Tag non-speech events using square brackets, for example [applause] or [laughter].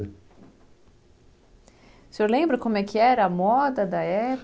O senhor lembra como é que era a moda da [unintelligible]